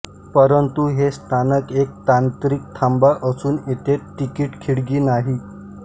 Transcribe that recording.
परंतु हे स्थानक एक तांत्रिक थांबा असून येथे तिकीट खिडकी नाही